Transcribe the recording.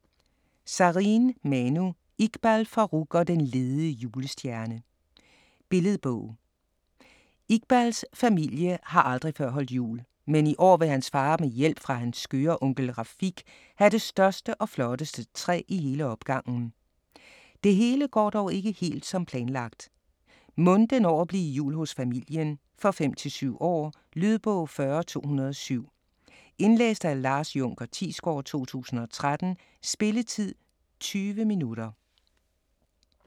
Sareen, Manu: Iqbal Farooq og den lede julestjerne Billedbog. Iqbals familie har aldrig før holdt jul. Men i år vil hans far med hjælp fra hans skøre onkel Rafiq have det største og flotteste træ i hele opgangen. Det hele går dog ikke helt som planlagt. Mon det når at blive jul hos familien? For 5-7 år. Lydbog 40207 Indlæst af Lars Junker Thiesgaard, 2013. Spilletid: 0 timer, 20 minutter.